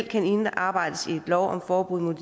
kan indarbejdes i en lov om forbud mod